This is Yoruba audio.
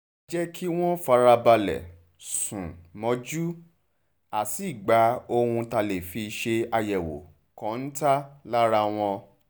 a jẹ́ kí wọ́n farabalẹ̀ sùn mọ́jú a sì gba ohun tá a lè fi ṣe àyẹ̀wò kọ́ńtà lára wọn